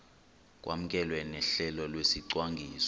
kwamkelwe nohlelo lwesicwangciso